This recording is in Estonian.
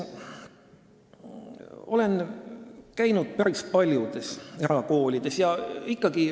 Olen käinud päris paljudes erakoolides.